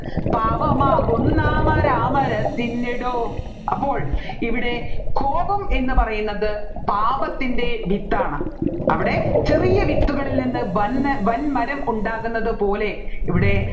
പാപമാകുന്ന മരാമരാതിന്നിടോ അപ്പോൾ ഇവിടെ കോപം എന്ന് പറയുന്നത് പാപത്തിൻെറ വിത്താണ് അവിടെ ചെറിയ വിത്തുകളിൽ നിന്ന് വൻ വൻമരം ഉണ്ടാകുന്നത് പോലെ ഇവിടെ